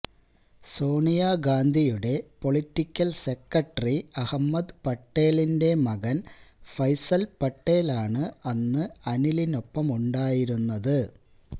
സോണിയ ഗാന്ധിയുടെ political secretary Ahmed പട്ടേലിന്റെ മകന് ഫൈസല് പട്ടേലാണ് അന്ന് അനിലിനൊപ്പമുണ്ടായിരുന്നത്